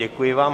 Děkuji vám.